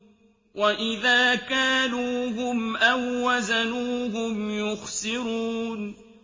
وَإِذَا كَالُوهُمْ أَو وَّزَنُوهُمْ يُخْسِرُونَ